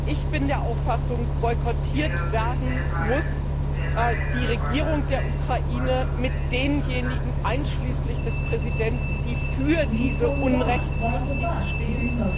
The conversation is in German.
Ich bin der Auffassung Boykottiert werden muss die Regierung der Ukraine mit denjenigen einschließlich des Präsidenten, die für diese Unrechtsjustiz stehen.